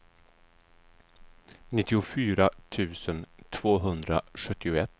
nittiofyra tusen tvåhundrasjuttioett